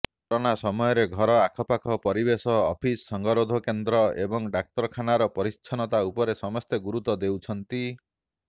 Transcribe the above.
corona ସମୟରେ ଘର ଆଖପାଖ ପରିବେଶ ଅଫିସ୍ ସଙ୍ଗରୋଧକେନ୍ଦ୍ର ଏବଂ ଡାକ୍ତରଖାନାର ପରିଚ୍ଛନ୍ନତା ଉପରେ ସମସ୍ତେ ଗୁରୁତ୍ୱ ଦେଉଛନ୍ତି